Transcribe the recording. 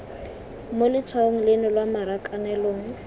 mo letshwaong leno lwa marakanelong